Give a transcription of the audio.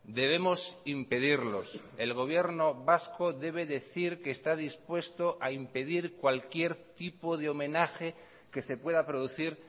debemos impedirlos el gobierno vasco debe decir que está dispuesto a impedir cualquier tipo de homenaje que se pueda producir